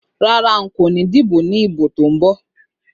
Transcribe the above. Rárá, nko ni díbò ní ìbò tó ń bọ̀.